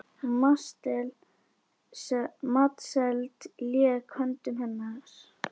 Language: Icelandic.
Matseld lék í höndum hennar.